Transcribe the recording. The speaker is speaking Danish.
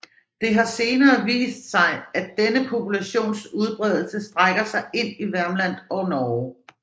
Det har senere vist sig at denne populations udbredelse strækker sig ind i Värmland og Norge